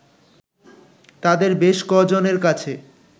তাদের বেশ ক'জনের কাছে